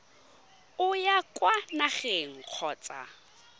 o ya kwa nageng kgotsa